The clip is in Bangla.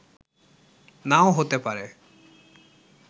নাও হতে পারে